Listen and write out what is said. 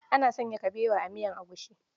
Ana sanya kabewa a miyar agushi.